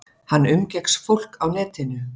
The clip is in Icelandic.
Hann umgekkst fólk á netinu.